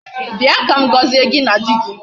Bịa ka m gọzie gị na di gị.